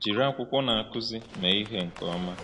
Jiri akwụkwọ Na-akụzi mee ihe nke ọma.